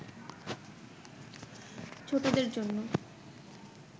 ছোটদের জন্য